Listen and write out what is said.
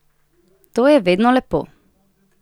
To je vedno lepo.